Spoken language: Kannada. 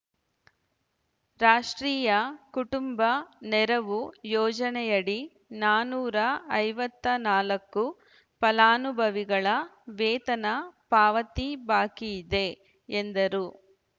ರಾಷ್ಟ್ರೀಯ ಕುಟುಂಬ ನೆರವು ಯೋಜನೆಯಡಿ ನಾನೂರ ಐವತ್ತ್ ನಾಲ್ಕು ಫಲಾನುಭವಿಗಳ ವೇತನ ಪಾವತಿ ಬಾಕಿಯಿದೆ ಎಂದರು